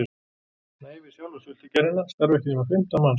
Nei, við sjálfa sultugerðina starfa ekki nema fimmtán manns